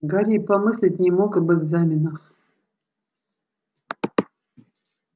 гарри и помыслить не мог об экзаменах